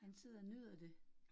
Han sidder og nyder det